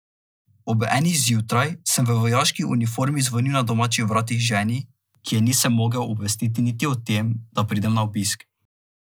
Ob enih zjutraj sem v vojaški uniformi zvonil na domačih vratih, ženi, ki je nisem mogel obvestiti niti o tem, da pridem na obisk.